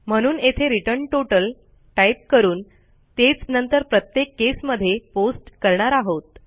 म्हणून येथे return total type करून तेच नंतर प्रत्येक केसमध्ये पेस्ट करणार आहोत